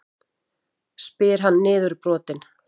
spyr hann niðurbrotinn.